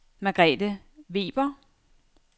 Margrethe Weber